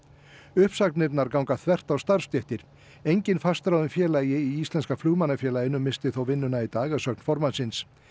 uppsagnirnar ganga þvert á starfsstéttir enginn fastráðinn félagi í Íslenska missti þó vinnuna í dag að sögn formannsins